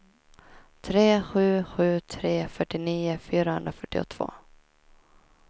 tre sju sju tre fyrtionio fyrahundrafyrtiotvå